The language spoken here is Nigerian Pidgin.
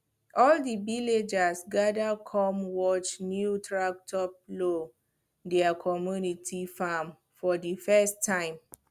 all the villagers gather come watch new tractor plow their community farm for the first time